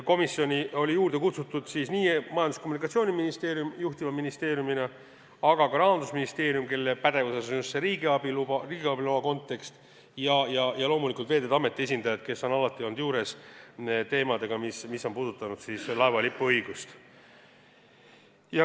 Komisjoni olid kutsutud nii Majandus- ja Kommunikatsiooniministeerium juhtiva ministeeriumina kui ka Rahandusministeerium, kelle pädevuses on just riigiabi loa kontekst, ja loomulikult Veeteede Ameti esindajad, kes on alati olnud kohal, kui käsitletud on laeva lipuõigust puudutavaid teemasid.